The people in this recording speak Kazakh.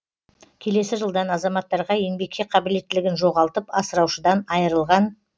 келесі жылдан азаматтарға еңбекке қабілеттілігін жоғалтып асыраушыдан айырылған